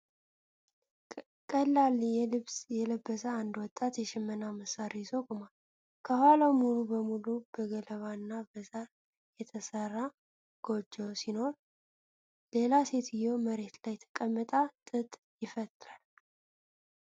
ቀላል ልብስ የለበሰ አንድ ወጣት የሽመና መሣሪያ ይዞ ቆሟል። ከኋላው ሙሉ በሙሉ በገለባ እና በሳር የተሰራ ጎጆ ሲኖር፣ ሌላ ሴትዮ መሬት ላይ ተቀምጣ ጥጥ ይፈትላል።